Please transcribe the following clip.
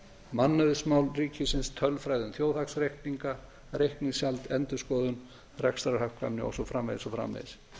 mannauðsmál ríkisins tölfræði um þjóðhagsreikninga reikningshald endurskoðun rekstrarhagkvæmni og svo framvegis og svo framvegis